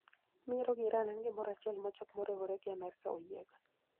Miero gi Iran en gimoro achiel ma jok moriwore gi Amerka oyiego.